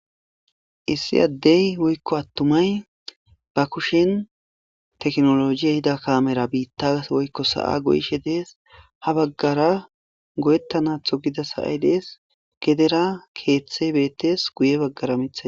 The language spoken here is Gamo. issi addey woykko attumay ba kushen teknolojiye hida kamera biitta woykko sa7a goyishe dees ha baggara goyettanatho gidas aay dees gedera keeththe beettes guye baggara mitha